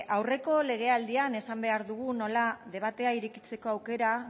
aurreko legealdian esan behar dugu nola debatea irekitzeko aukera